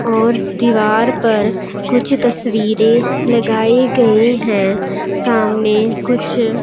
और दीवार पर कुछ तस्वीरें लगाई गई हैं सामने कुछ--